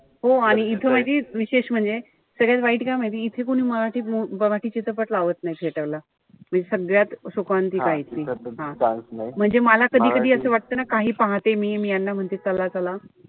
हो आणि इथं माहितीये विशेष म्हणजे, सगळ्यात वाईट काय माहितीये. इथे कोणीच मराठी मराठी चित्रपट लावत नाई theater ला. म्हणजे सगळ्यात शोकांतिका आहे ती. म्हणजे मला कधी-कधी असं वाटत ना काही पाहते मी. मी यांना म्हणते चला-चला,